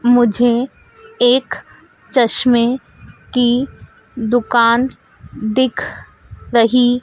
मुझे एक चश्मे की दुकान दिख रही--